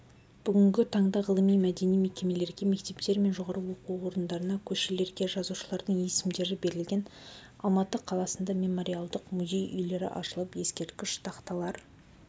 бүгінгі таңда ғылыми мәдени мекемелерге мектептер мен жоғарғы оқу орындарына көшелерге жазушылардың есімдері берілген алматы қаласында мемориалдық музей-үйлері ашылып ескерткіш тақталар